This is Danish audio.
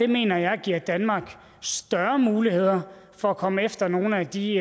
mener jeg giver danmark større muligheder for at komme efter nogle af de